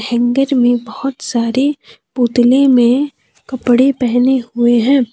Hanger में बहुत सारे पुतले में कपड़े पहने हुए हैं।